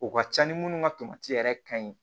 O ka ca ni minnu ka yɛrɛ ka ɲi